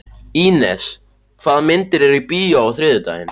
Ínes, hvaða myndir eru í bíó á þriðjudaginn?